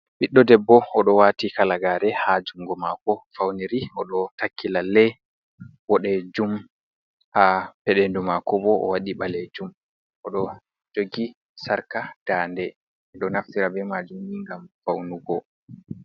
Ɓiɗɗo debbo oɗo wati halagare ha jungo mako fawniri. Oɗo takki lalle boɗejum, ha peɗendu mako bo oɗo wati ɓalejum. Oɗo jogi sarka dande. Ɓeɗo naftira be majumni ngam fawnugo.